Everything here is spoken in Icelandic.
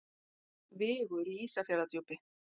Vigur í Ísafjarðardjúpi.